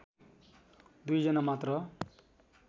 दुईजना मात्र